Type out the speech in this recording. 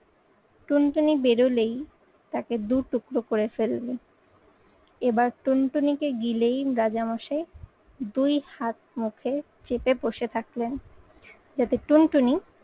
টুনটুনি বেরোলেই তাকে দু টুকরো করে ফেলবে। এবার টুনটুনিকে গিলেই রাজামশাই দুই হাত মুখে চেপে বসে থাকলেন যাতে টুনটুনি